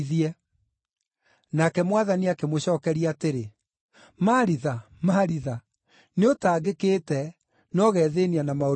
Nake Mwathani akĩmũcookeria atĩrĩ, “Maritha, Maritha, nĩũtangĩkĩte, na ũgethĩĩnia na maũndũ maingĩ,